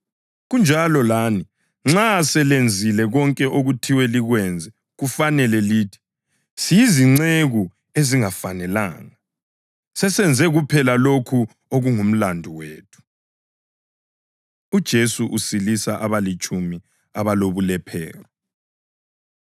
Kunjalo lani nxa selenzile konke okuthiwe likwenze kufanele lithi, ‘Siyizinceku ezingafanelanga; sesenze kuphela lokho okungumlandu wethu.’ ” UJesu Usilisa Abalitshumi Abalobulephero